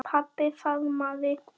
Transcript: Pabbi faðmaði